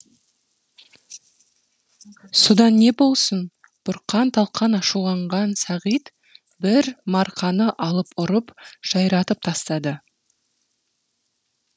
содан не болсын бұрқан талқан ашуланған сағит бір марқаны алып ұрып жайратып тастады